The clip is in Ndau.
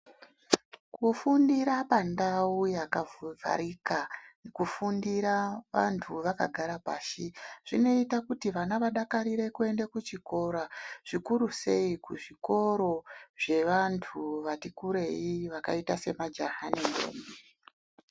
Kufundira pandau yakavharika nekufindira vantu vakagare pashi zvinoite kuti vana vadakarire kuenda kuchikora zvikurusei kuzvikora zvevantu vatikurei vakaita semajaha nentombi.